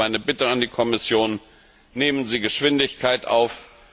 Deshalb meine Bitte an die Kommission Nehmen Sie Geschwindigkeit auf!